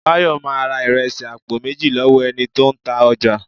Bayo máa ra ìrẹsì àpò méjì lọ́wọ́ ẹni tó ń ta ọjà